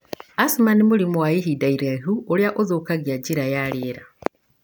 Asthma nĩ mũrimũ wa ihinda iraihu ũria ũthukagia njira ya rĩera.